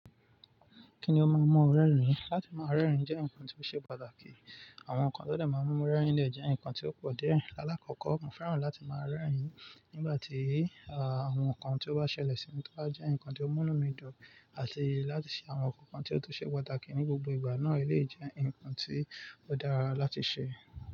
Kí ni ó máa ń mú ọ rẹ́rìn-ín? Látí máa rẹ́rìn-ín jẹ́ nǹkan tí ó ṣe pàtàkì. Àwọn nǹkan tó lè máa ń mú ẹ rẹ́rìn-ín lè jẹ́ nǹkan tí ó pọ̀ díẹ̀. Láàkọ́kọ́, mo fẹ́ràn láti máa rẹ́rìn-ín nígbà tí, àwọn nǹkan tí ó bá ṣẹlẹ̀ sí mi tó bá jẹ́ nǹkan tí ó mú mí dùn àti láti ṣe àwọn nǹkan tí ó tó ṣe pàtàkì ní gbogbo ìgbà náà lè jẹ́ nǹkan tí ó dára láti ṣe.